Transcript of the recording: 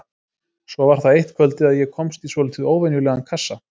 Svo var það eitt kvöldið að ég komst í svolítið óvenjulegan kassa.